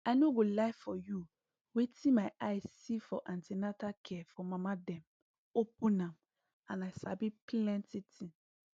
i no go lie for you wetin my eye see for an ten atal care for mama dem open am and i sabi plenty thing